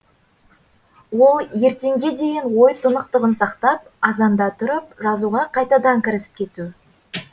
ол ертеңге дейін ой тұнықтығын сақтап азанда тұрып жазуға қайтадан кірісіп кету